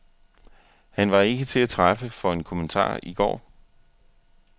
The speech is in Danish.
Han var ikke til at træffe for en kommentar i går.